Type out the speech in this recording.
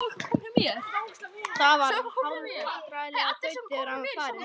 Það var hálfvandræðaleg þögn þegar hann var farinn.